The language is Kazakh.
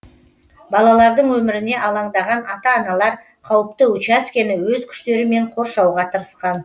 балалардың өміріне алаңдаған ата аналар қауіпті учаскені өз күштерімен қоршауға тырысқан